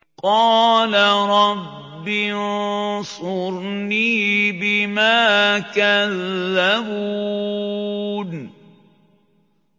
قَالَ رَبِّ انصُرْنِي بِمَا كَذَّبُونِ